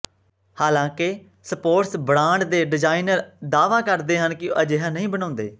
ਹਾਲਾਂਕਿ sports brand ਦੇ designer ਦਾਅਵਾ ਕਰਦੇ ਹਨ ਕਿ ਉਹ ਅਜਿਹਾ ਨਹੀਂ ਬਣਾਉਂਦੇ